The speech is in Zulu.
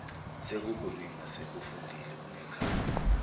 sekukuningi asekufundile unekhanda